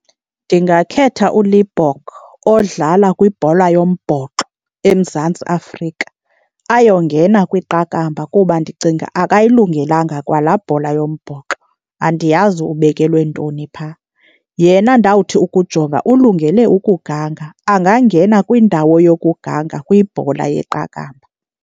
Ndingakhetha uLibbok odlala kwibhola yombhoxo eMzantsi Afrika ayongena kwiqakamba kuba ndicinga akayilungelanga kwa laa bhola yombhoxo, andiyazi ubekelwe ntoni phaa. Yena ndawuthi ukujonga ulungele ukuganga, angangena kwindawo yokuganga kwibhola yeqakamba.